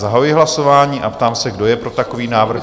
Zahajuji hlasování a ptám se, kdo je pro takový návrh?